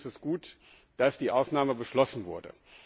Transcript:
Deswegen ist es gut, dass die Ausnahme beschlossen wurde.